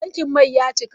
Tankin mai ya cika.